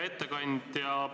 Hea ettekandja!